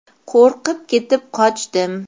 Qo‘rqib ketib qochdim.